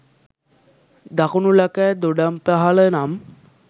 දකුණු ලකැ දොඩම්පහළ නම්